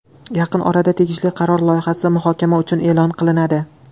Yaqin orada tegishli qaror loyihasi muhokama uchun e’lon qilinadi.